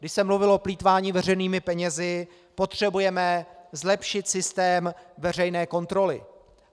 Když se mluvilo o plýtvání veřejnými penězi - potřebujeme zlepšit systém veřejné kontroly.